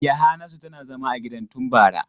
Yahanasu tana zama a gidan tun bara.